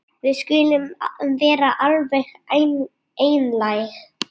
Við skulum vera alveg einlæg.